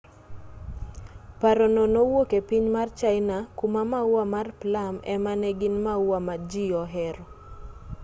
paro no nowuok e piny mar china kuma maua mar plum ema ne gin maua ma ji ohero